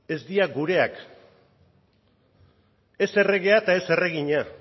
ez dira gureak ez erregea eta ez erregina